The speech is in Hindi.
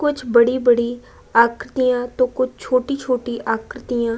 कुछ बड़ी-बड़ी आकृतियां तो कुछ छोटी छोटी आकृतियां --